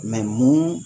mun